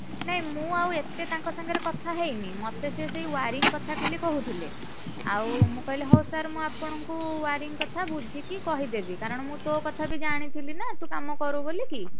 ନାଇଁ ମୁଁ ଆଉ ଏତେ ତାଙ୍କ ସାଙ୍ଗରେ କଥା ହେଇନି। ମତେସିଏ ସେଇ wiring କଥା ଖାଲି କହୁଥିଲେ। ଆଉ ମୁଁକହିଲି ହଉ sir ମୁଁ ଆପଣଙ୍କୁ wiring କଥା ବୁଝିକି କହିଦେବିକାରଣ ମୁଁ ତୋ କଥା ବି ତ ଜାଣିଥିଲି ନା ତୁ କାମ କରୁ ବୋଲିକି। ଆଉ ,